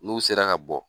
N'u sera ka bɔ